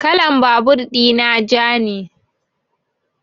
Kalan babur ina ja ne